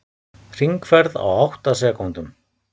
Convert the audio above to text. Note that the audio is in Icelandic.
Hringferð á átta sekúndum